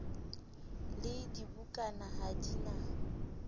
le dibukana ha di na